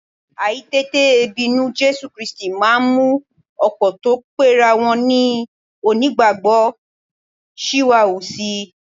Àìtètè bínú Jésù Kírísítì máa ń mú ọ̀pọ̀ tó pera wọn ní onígbàgbọ́ ṣìwàhù si